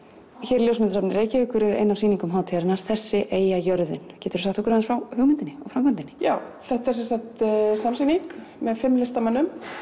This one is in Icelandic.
hér í ljósmyndasafni Reykjavíkur er ein sýning hátíðarinnar þessi eyja jörðin geturðu sagt okkur aðeins frá hugmyndinni og framkvæmdinni já þetta er sem sagt samsýning með fimm listamönnum